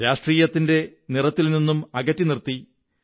രാഷ്ട്രീയത്തിന്റെ നിറത്തിൽ നിന്നും അകറ്റി നിര്ത്തിദ